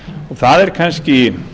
það er kannski